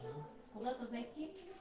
куда-то зайти